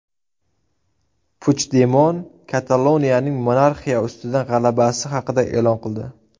Puchdemon Kataloniyaning monarxiya ustidan g‘alabasi haqida e’lon qildi.